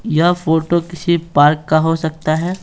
यह फोटो किसी पार्क का हो सकता है।